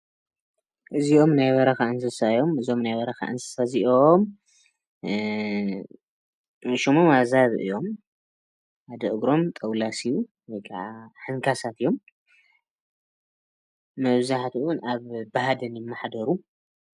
እዚኦም ናይ በረካ እንስሳ እዮም እዚኦም ናይ በረካ እዚኦም ሽሞም ኣዛብእ እዮም ሓደ እግሮም ጠዉላስ እዩ ወይከኣ ሓንካሳት እዮም መብዛሕቱ ብሃደን ይመሓደሩ